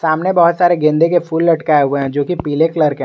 सामने बहुत सारे गेंदे के फूल लटकाए हुए हैं जोकि पीले कलर के हैं।